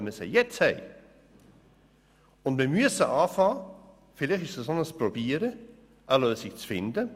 Wir müssen beginnen – vielleicht ist dies ein Versuch –, eine Lösung zu finden.